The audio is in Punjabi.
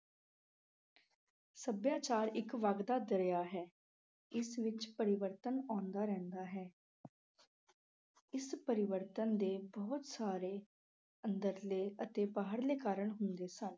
ਸੱਭਿਆਚਾਰ ਇੱਕ ਵਗਦਾ ਦਰਿਆ ਹੈ, ਇਸ ਵਿੱਚ ਪਰਿਵਰਤਨ ਆਉਂਦਾ ਰਹਿੰਦਾ ਹੈ। ਇਸ ਪਰਿਵਰਤਨ ਦੇ ਬਹੁਤ ਸਾਰੇ ਅੰਦਰਲੇ ਅਤੇ ਬਾਹਰਲੇ ਕਾਰਨ ਹੁੰਦੇ ਹਨ।